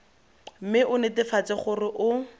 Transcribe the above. mme o netefatse gore o